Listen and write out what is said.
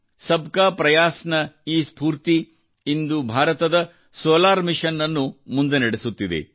ಸಬ್ ಕಾ ಪ್ರಯಾಸ್ ನ ಈ ಸ್ಫೂರ್ತಿಯು ಇಂದು ಭಾರತದ ಸೋಲಾರ್ ಮಿಷನ್ ಅನ್ನು ಮುಂದೆ ನಡೆಸುತ್ತಿದೆ